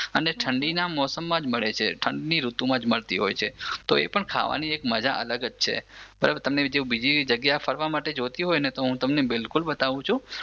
અને ઠંડીના મોસમમાં જ મળે છે ઠંડની ઋતુમાં જ મળતી હોય છે એ ખાવાની પણ એક મજા અલગ જ છે જો તમને બીજી જગ્યા ફરવા માટે જોઈતી હોય ને તો બિલકુલ બતાવું છું